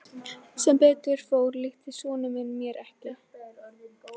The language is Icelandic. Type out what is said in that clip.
Sem betur fór líktist sonur minn mér ekki.